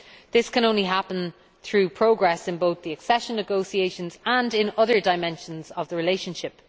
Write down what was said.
This can only happen through progress in both the accession negotiations and other dimensions of the relationship.